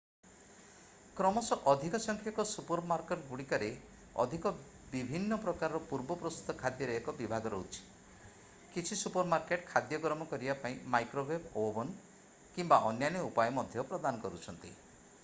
କ୍ରମଶଃ ଅଧିକ ସଂଖ୍ୟକ ସୁପରମାର୍କେଟଗୁଡ଼ିକରେ ଅଧିକ ବିଭିନ୍ନ ପ୍ରକାରର ପୂର୍ବ-ପ୍ରସ୍ତୁତ ଖାଦ୍ୟର ଏକ ବିଭାଗ ରହୁଛି କିଛି ସୁପରମାର୍କେଟ୍ ଖାଦ୍ୟ ଗରମ କରିବା ପାଇଁ ମାଇକ୍ରୋୱେଭ୍ ଓଭନ୍ କିମ୍ବା ଅନ୍ୟାନ୍ୟ ଉପାୟ ମଧ୍ୟ ପ୍ରଦାନ କରୁଛନ୍ତି